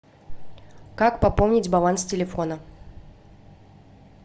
как пополнить баланс телефона